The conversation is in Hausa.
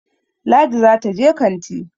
Ladi za ta je kanti